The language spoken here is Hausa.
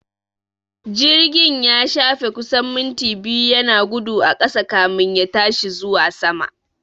Jirgin ya shafe kusan minti biyu yana gudu a ƙasa kamin ya tashi zuwa sama